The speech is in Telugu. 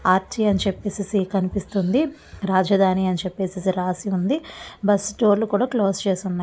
ఆర్చి అని చెప్పెసేసి కనిపిస్తూ ఉంది. రాజధాని అని చెప్పెసేసి రాసి ఉంది. బస్సు డోర్ లు కూడా క్లోజ్ చేసి ఉన్నాయ్.